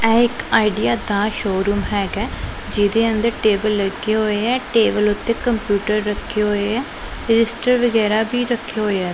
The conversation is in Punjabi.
ਇਹ ਇੱਕ ਆਈਡੀਆ ਦਾ ਸ਼ੋਰੂਮ ਹੈਗਾ ਐ ਜਿਹਦੇ ਅੰਦਰ ਟੇਬਲ ਲੱਗਿਆ ਹੋਏ ਐ ਟੇਬਲ ਓੱਤੇ ਕੰਪਿਊਟਰ ਰੱਖੇ ਹੋਏ ਐ ਰਜਿਸਟਰ ਵਗੈਰਾ ਵੀ ਰੱਖੇ ਹੋਏ ਐ।